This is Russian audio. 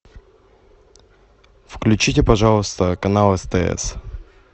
включите пожалуйста канал стс